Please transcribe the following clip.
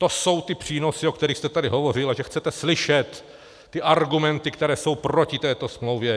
To jsou ty přínosy, o kterých jste tady hovořil, a že chcete slyšet ty argumenty, které jsou proti této smlouvě!